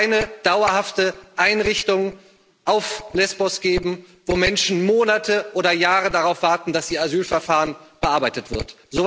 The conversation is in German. Es darf keine dauerhafte Einrichtung auf Lesbos geben, wo Menschen Monate oder Jahre darauf warten, dass ihr Asylverfahren bearbeitet wird.